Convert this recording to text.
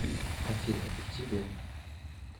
афина и тебе